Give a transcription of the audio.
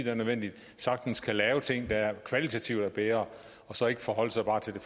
er nødvendig sagtens kan lave ting der kvalitativt er bedre og så ikke forholde sig bare til